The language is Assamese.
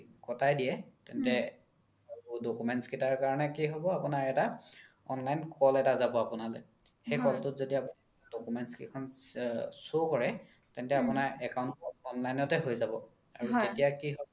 কতাই দিয়ে তেন্তে documents কেইতাৰ কাৰনে কি হ্'ব আপোনাৰ এটা online call এটা যাব আপোনালে সেই call তোত যদি documents কেইখন show কৰে তেন্তে আপোনাৰ account online তে হয় যাব আৰু তেতিয়া কি হয়